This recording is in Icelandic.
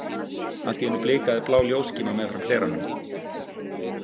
Allt í einu blikaði blá ljósskíma meðfram hleranum.